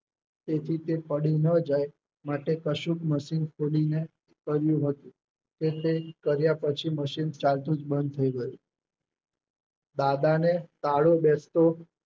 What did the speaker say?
તેથી તે પડી ન જાય માટે કશુંકે મશીન ખોલીને કર્યું હતું. એટલે કાર્ય પછી મશીન ચાલતું જુ બંધ થઈ ગયું. દાદાને ટાળો બેશતો